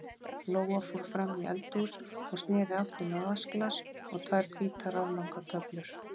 Lóa fór fram í eldhús og sneri aftur með vatnsglas og tvær hvítar, aflangar töflur.